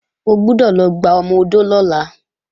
O gbọ́dọ̀ lọ gba ọmọ-odó lọ́la!